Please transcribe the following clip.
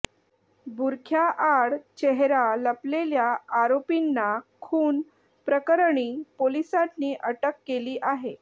बुरख्या आड चेहरा लपलेल्या आरोपींना खून प्रकरणी पोलिसांनी अटक केली आहे